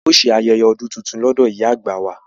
A ó ṣe ayẹyẹ ọdún tuntun ní ọ̀dọ̀ ìyá àgbà wa